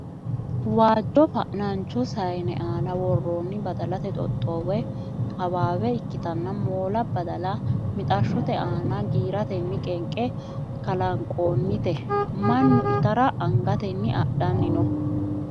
Waajjo fanancho saayne aana worroonni badalate xoxxoo woy hawaawe ikkitanna moola badala mixashshote aana giiraatenni qenqe kalanqoonnite. Mannu itara angatenni adhanni no.